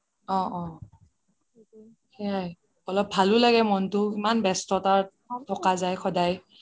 অহ অহ সেইয়াই অলপ ভালো লাগে মনতো ইমান ব্যস্ততা থকা যাই সদাই